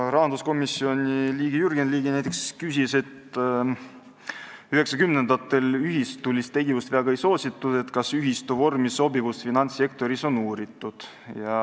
Rahanduskomisjoni liige Jürgen Ligi näiteks küsis, et 1990-ndatel ühistulist tegevust väga ei soositud ja kas ühistu vormi sobivust finantssektoris on uuritud.